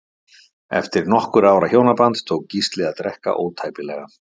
Eftir nokkurra ára hjónaband tók Gísli að drekka ótæpilega.